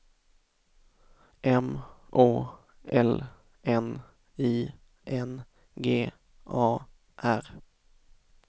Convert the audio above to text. M Å L N I N G A R